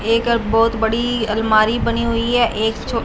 एक बहोत बड़ी अलमारी बनी हुई है एक छो--